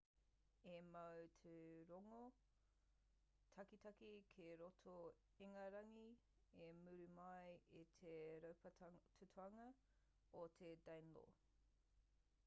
i mau te rongo taketake ki roto ingarangi i muri mai i te raupatutanga o te danelaw